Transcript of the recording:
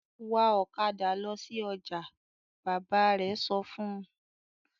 "Wa ọ̀kadà lọ sí ọjà!" Bàbá rẹ̀ sọ fún un.